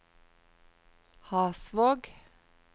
Hasvåg